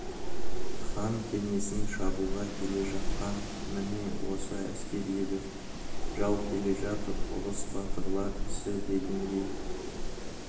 хан кеңесін шабуға келе жатқан міне осы әскер еді жау келе жатыр ұрыс батырлар ісі дегендей